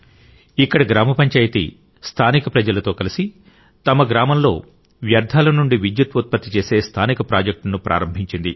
ఇక్కడ గ్రామ పంచాయితీ స్థానిక ప్రజలతో కలిసి తమ గ్రామంలో వ్యర్థాల నుండి విద్యుత్ ఉత్పత్తి చేసే స్థానిక ప్రాజెక్ట్ను ప్రారంభించింది